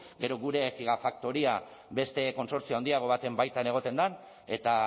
gero gure gigafaktoria beste kontsortzio handiago baten baitan egoten den eta